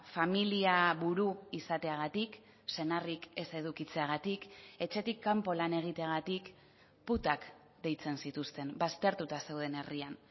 familia buru izateagatik senarrik ez edukitzeagatik etxetik kanpo lan egiteagatik putak deitzen zituzten baztertuta zeuden herrian